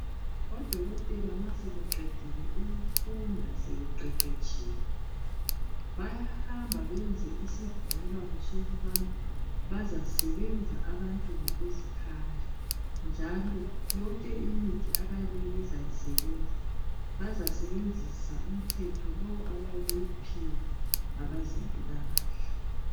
Odokotela masebeqedile ukufunda sebeqeqeshile, bayahamba beyenza isivumelwano sokubana bazasebenza ngokuzikhandla. Njalo yonke imithi abazisebenzisa, bayasebenzisa yonke imithetho abayabe beyiphiwe ngabezempilakahle.